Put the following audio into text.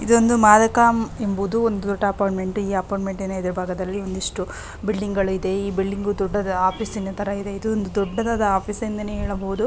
ಇದೊಂದು ಮಾದಕ ಎಂಬುವ ಒಂದು ಅಪಾರ್ಟ್ಮೆಂಟ್ ಈ ಅಪಾರ್ಟ್ಮೆಂಟ್ ನ ಮುಂದೆ ಒಂದಿಷ್ಟ್ಟು ಬಿಲ್ಡಿಂಗ್ ಇದೆ. ಈ ಬಿಲ್ಡಿಂಗ್ ಒಂದು ಆಫಿಸ್ ನ ತರಾ ಇದೆ. ಈ ಆಫೀಸು ದೊಡ್ಡದಾದ ಆಫೀಸ್ ಎಂದು ಹೇಳಬಹುದು.